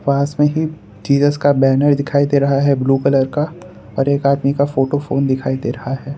पास में ही तिरस का बैनर दिखाई दे रहा है ब्लू कलर का और एक आदमी का फोटो फोन दिखाई दे रहा है।